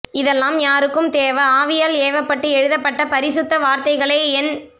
இதெல்லாம் யாருக்கும் தேவ ஆவியால் ஏவப்பட்டு எழுதப்பட்ட பரிசுத்த வார்த்தைகளே என்